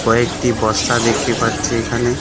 কয়েকটি বস্তা দেখতে পাচ্ছি এখানে .